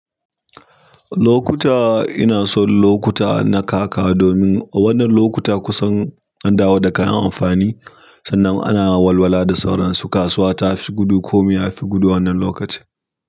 Lokuta ina son lokuta na kaka, domin wannan lokuta kusan an dawo da kayan amfani sannan ana walwala da sauransu. Kasuwa ta fi gudu, komi ya fi gudu wannan lokacin.